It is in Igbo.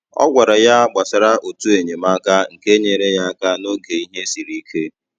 Ọ gwara ya gbasara otu enyemaka nke nyere ya aka n’oge ihe siri ike.